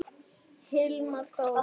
Hilmar Þór.